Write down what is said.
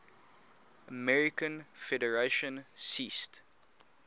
american federation ceased